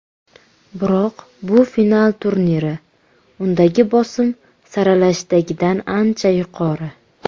Biroq bu final turniri, undagi bosim saralashdagidan ancha yuqori.